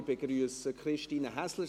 Ich begrüsse Christine Häsler;